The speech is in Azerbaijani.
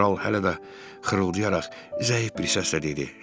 Kral hələ də xırıldayaraq zəif bir səslə dedi: